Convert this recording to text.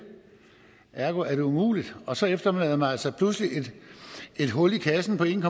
ergo var det umuligt og så efterlod man altså pludselig et hul i kassen på en